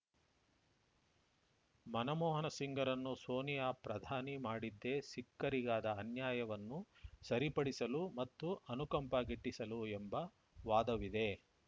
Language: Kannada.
ಮನಮೋಹನ ಸಿಂಗ್‌ರನ್ನು ಸೋನಿಯಾ ಪ್ರಧಾನಿ ಮಾಡಿದ್ದೇ ಸಿಖ್ಖರಿಗಾದ ಅನ್ಯಾಯವನ್ನು ಸರಿಪಡಿಸಲು ಮತ್ತು ಅನುಕಂಪ ಗಿಟ್ಟಿಸಲು ಎಂಬ ವಾದವಿದೆ